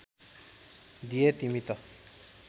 दिए तिमी त